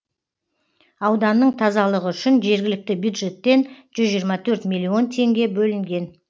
ауданның тазалығы үшін жергілікті бюджеттен жүз жиырма төрт миллион теңге бөлінген